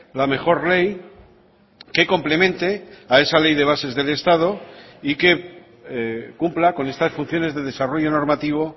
la mejor ley que complemente a esa ley de bases del estado y que cumpla con estas funciones de desarrollo normativo